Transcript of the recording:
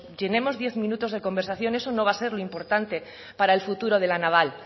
llenemos diez minutos de conversación eso no va a ser lo importante para el futuro de la naval